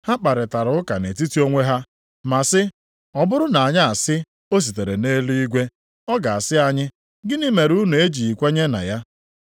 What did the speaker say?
Ha kparịtara ụka nʼetiti onwe ha ma sị, “Ọ bụrụ na anyị asị, ‘O sitere nʼeluigwe,’ ọ ga-asị anyị, ‘Gịnị mere unu na-ejighị kwenye na ya?’